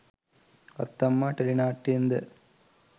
අත්තම්මා ටෙලිනාට්‍යයෙන්ද?